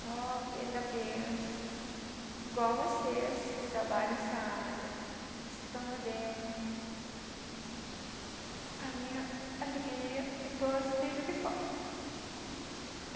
Só que ainda penso, igual vocês que trabalham nessa área, os que estão lá dentro, a minha alegria é que todos estejam aqui fora.